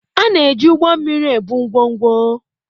A na-eji ụgbọ mmiri ebu ngwongwo